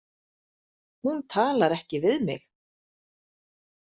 Hún talar ekki við mig.